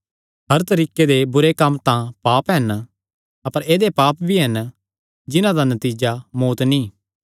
हर तरीके दे बुरे कम्म तां पाप हन अपर ऐदेय पाप भी हन जिन्हां दा नतीजा मौत्त नीं